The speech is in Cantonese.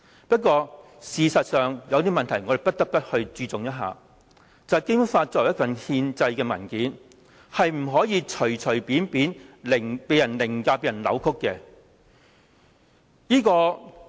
不過，事實上，有些問題我們不得不注重，便是《基本法》作為一份憲制文件，不能隨便被人凌駕和扭曲。